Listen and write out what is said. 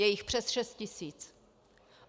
Je jich přes šest tisíc.